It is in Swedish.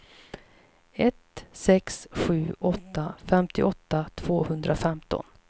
ett sex sju åtta femtioåtta tvåhundrafemton